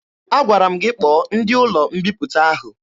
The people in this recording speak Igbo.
Agwara m gị kpọọ ndị ụlọ mbiputa ahụ!